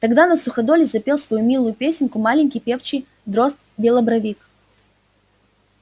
тогда на суходоле запел свою милую песенку маленький певчий дрозд-белобровик